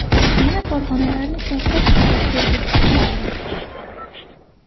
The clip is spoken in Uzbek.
Yana korxonalarni shaffof ishlashga o‘rgatish ham kerak.